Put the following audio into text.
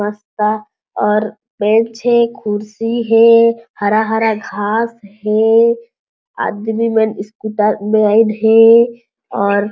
बस्ता और बेंच हे कुर्सी हे हरा-हरा घास हे आदमी मन स्कूटर में आइन हे और --